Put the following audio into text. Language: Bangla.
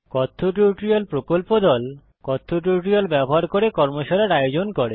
কথ্য টিউটোরিয়াল প্রকল্প দল কথ্য টিউটোরিয়াল ব্যবহার করে কর্মশালার আয়োজন করে